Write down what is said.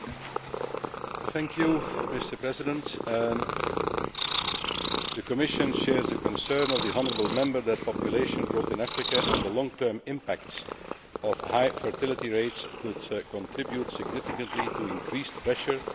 The Commission shares the concern of the honourable Member that population growth in Africa and the long term impact of high fertility rates could contribute significantly to increased pressure on Africa's natural resources and determining